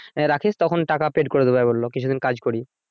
রাখেস তখন টাকা paid করে দিবো একবার বললো কিছুদিন কাজ করি